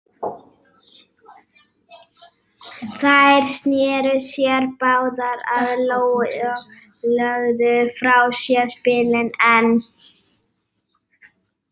Þær sneru sér báðar að Lóu og lögðu frá sér spilin en